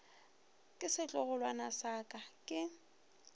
ke setlogolwana sa ka ke